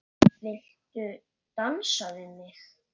Viltu dansa við mig?